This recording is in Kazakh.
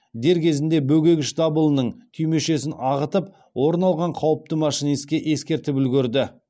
дер кезінде бөгегіш дабылының түймешесін ағытып орын алған қауіпті машинистке ескертіп үлгерді